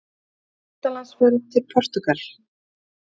UTANLANDSFERÐ TIL PORTÚGAL